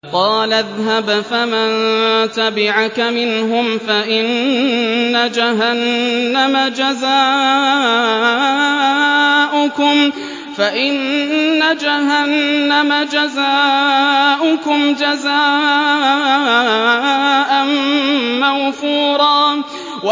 قَالَ اذْهَبْ فَمَن تَبِعَكَ مِنْهُمْ فَإِنَّ جَهَنَّمَ جَزَاؤُكُمْ جَزَاءً مَّوْفُورًا